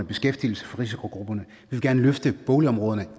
beskæftigelse til risikogrupperne vi vil gerne løfte boligområderne